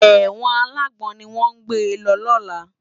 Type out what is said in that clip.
Èwòn àlágbòn niwòn gbé lò làná